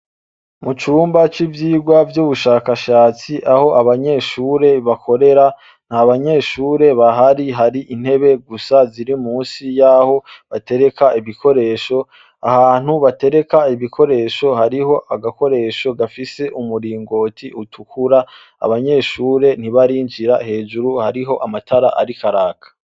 Mu cumba c'ivyirwa vy'ubushakashatsi aho abanyeshure bakorera nta banyeshure bahari hari intebe gusa ziri musi y'aho batereka ibikoresho, ahantu batereka ibikoresho hariho agakoresho gafise umuringoti utukura, abanyeshure ntibarinjira, hejuru hariho amatara ariko araka.